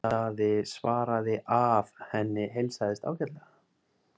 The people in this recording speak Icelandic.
Daði svaraði að henni heilsaðist ágætlega.